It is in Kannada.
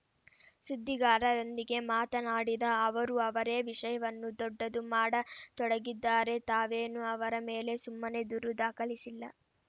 ಸುದ್ದಿಗಾರರೊಂದಿಗೆ ಮಾತನಾಡಿದ ಅವರು ಅವರೇ ವಿಷಯವನ್ನು ದೊಡ್ಡದು ಮಾಡತೊಡಗಿದ್ದಾರೆ ತಾವೇನು ಅವರ ಮೇಲೆ ಸುಮ್ಮನೆ ದೂರು ದಾಖಲಿಸಿಲ್ಲ